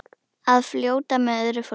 Að fljóta með öðru fólki.